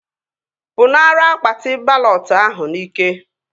Pụnara akpati balọt ahụ n'ike!